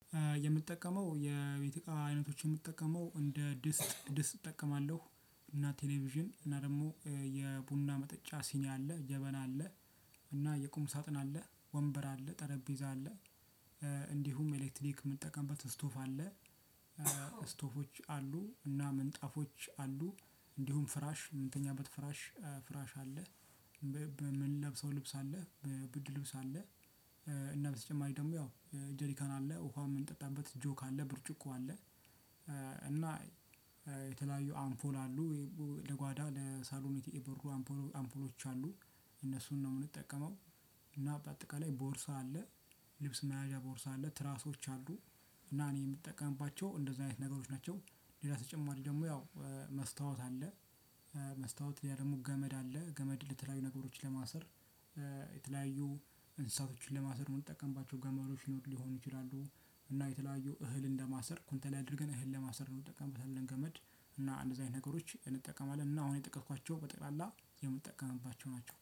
የምጠቀመው የቤት እቃ አይነቶች የምጠቀመው እንደ ድስት ድስት እጠቀማለሁ እና ቴሌቪዥን እና ደግሞ የቡና መጠጫ ሲኒ አለ ጀበና አለ። እና የቁም ሳጥን አለ ወንበር አለ ጠረጴዛ አለ። እንዲሁም ኤሌክትሪክ የምንጠቀምበት ስቶቭ አለ። ስቶቮች አሉ እና ምንጣፎች አሉ እንዲሁም ፍራሽ ምንተኛበት ፍራሽ ፍራሽ አለ። በምንለብሰው ልብስ አለ ብርድ ልብስ አለ። እና በተጨማሪ ደግሞ ያው ጀሪካን አለ ውሃ የምንጠጣበት ጆክ አለ ብርጭቆ አለ። እና የተለያዩ አምፖል አሉ ለጓዳ ለሳሎን የበሩ አምፖሎች አሉ እነሱን ነው የምንጠቀመው። እና በአጠቃላይ ቦርሳ አለ ልብስ መያዣ ቦርሳ አለ ትራሶች አሉ እና እኔ የምጠቀምባቸው እንደዚህ አይነት ነገሮች ናቸው። ሌላ ተጨማሪ ደግሞ ያው መስታወት አለ። መስታወት ከዚያ ደሞ ገመድ አለ ገመድ የተለያዩ ነገሮችን ለማሰር የተለያዩ እንስሳቶችን ለማሰር የምንጠቀምባቸው ገመዶች ሊሆኑ ይችላሉ። እና የተለያዩ እህል እንደማሰር ኩንታል ላይ አድርገን እህል ለማሰር ነው የምንጠቀመው ያንን ገመድ። እና እንደዚህ አይነት ነገሮች እንጠቀማለን እና አሁን የጠቀስኳቸው በጠቅላላ የምንጠቀምባቸው ናቸው